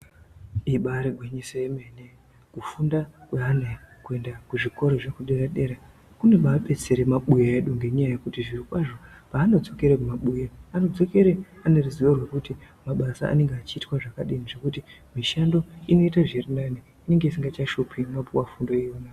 Ibari gwinyiso yomene kufunda kwevana kuenda kuzvikora zvekudera dera kunobadetsere mabuya edu ngenyaya yekuti zvirokwazvo paanodzokere kumabuya anodzikere ane ruzivo rwekuti mabasa anenge achiitwa zvakadini zvekuti mishando inoite zvirinani inenge isingachashupi inopuwa fundo yenyu.